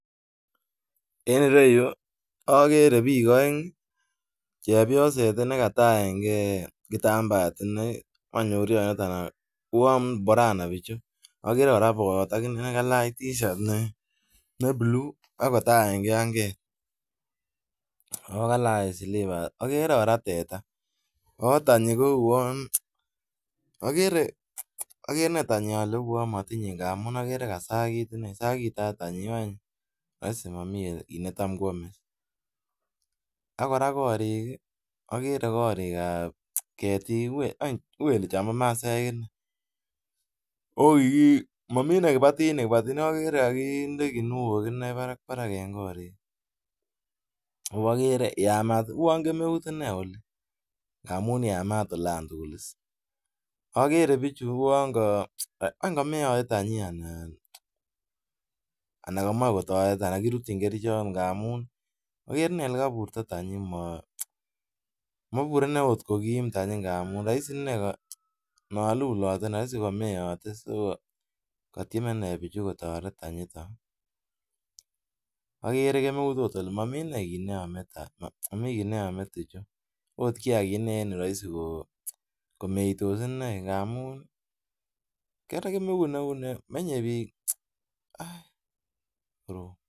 En ireyu agere bik aeng chepyoset nekataenge kitambaet inei ak uwon borana bichu agere kora bayat akinee kalach tishat ne Cs blue cs akokalach silibas ak agere kora teta ako tenyi kouwon agere tenyi uwon matinye agagere kosakitat tianyi went rahisi Mami kit netam Kwame akoraa korik agere korik ab cheu Chamba masaek inei akomami kibaitinik kibati neagere ko kakinde kinuok Barak en korik agoakere koyamat ako kemeut oli amun yamat olantugul agere bichu uwon ga Wendy kameate tenyi anan kamche kotaret kirutyinbkerchek Bichon ngamun olekaburto tenyi komabure okot kokim tenyi ntamun rahisi inei kalulote anan kokameyate katieme inei bichu kotaret tenyi ton agere kemeut Kole mamiten kit neyame tuchu okot rahisi komeitos inei amun kemeut neuni komenye bik